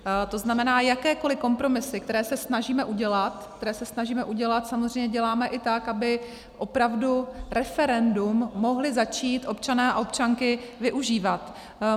To znamená, jakékoliv kompromisy, které se snažíme udělat, které se snažíme udělat, samozřejmě děláme i tak, aby opravdu referendum mohli začít občané a občanky využívat.